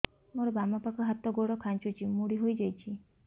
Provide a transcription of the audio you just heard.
ମୋର ବାମ ପାଖ ହାତ ଗୋଡ ଖାଁଚୁଛି ମୁଡି ହେଇ ଯାଉଛି